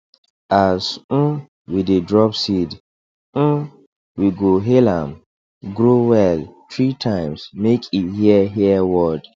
as um we dey drop seed um we go hail am grow well three times make e hear hear word